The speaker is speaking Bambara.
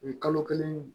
U ye kalo kelen